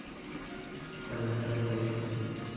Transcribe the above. добрострой поехали